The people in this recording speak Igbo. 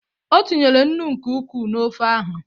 O tinyere nnu nke ukwuu na ofe ahụ.